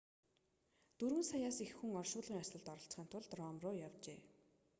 дөрвөн саяас их хүн оршуулгын ёслолд оролцохын тулд ром руу явжээ